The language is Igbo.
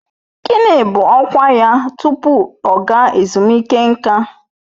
Gịnị bụ ọkwa ya tupu ọ ga ezumike nká?